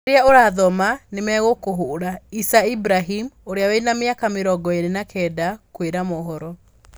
Riria urathoma nimegukuhura, Isa Ibrahim, Uria wina miaka mirongo iri na kenda, kwira mohoro